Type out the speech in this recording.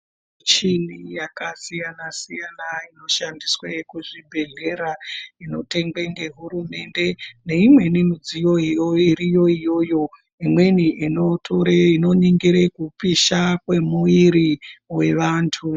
Michini yakasiyana-siyana inoshandiswe kuzvibhedhlera inotengwe ngehurumende neimweni midziyo iriyo iyoyo. Imweni inotore, inoningire kupisha kwemwiiri yevantu.